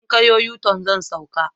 In ka yo yuton, zan sauka